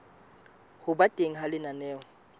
ho ba teng ha lenaneo